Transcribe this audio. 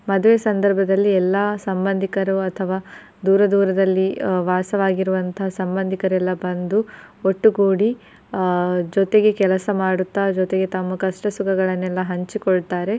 ಮದುವೆ ಸಂದರ್ಭದಲ್ಲಿ ಎಲ್ಲಾ ಸಂಬಂಧಿಕರು ಅಥವಾ ದೂರ ದೂರದಲ್ಲಿ ವಾಸವಾಗಿರುವಂತಹ ಸಂಬಂಧಿಕರೆಲ್ಲ ಬಂದು ಒಟ್ಟುಗೂಡಿ ಆ ಜೊತೆಗೆ ಕೆಲಸ ಮಾಡುತ್ತಾ ಜೊತೆಗೆ ತಮ್ಮ ಕಷ್ಟ ಸುಖಗಳನೆಲ್ಲ ಹಂಚಿಕೊಳ್ತಾರೆ.